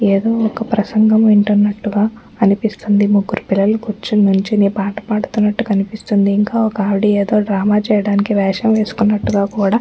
ఏదో ఒక్క ప్రసంగం వింటునట్టుగా అనిపిస్తుంది ముగ్గురు పిల్లలు కుర్చొని నిల్చొని పాట పాడుతున్నటుగా కనిపిస్తుంది ఇంకా ఒకావిడ ఏదో డ్రామా చేయడానికి వేషం వేసుకునట్టుగా కూడా--